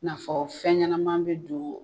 N'afɔ fɛn ɲɛnaman bɛ don